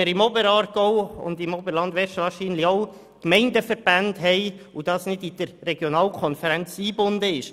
Im Oberaargau und im Oberland West haben wir dafür wahrscheinlich auch Gemeindeverbände, weil die Kultur nicht in die Regionalkonferenzen eingebunden ist.